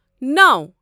نوَ